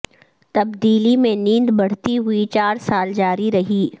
تبدیلی میں نیند بڑھتی ہوئی چار سال جاری رہی